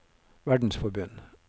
verdensforbund